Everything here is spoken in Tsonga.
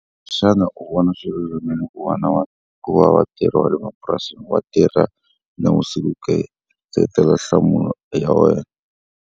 Xana u vona swilulamile ku va ku va vatirhi va le mapurasini va tirha na navusiku ke? Seketela nhlamulo ya wena.